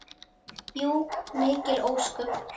Jú, mikil ósköp.